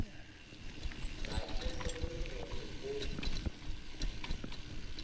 ga ke kgolwe gore o